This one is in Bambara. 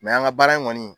an ka baara in kɔni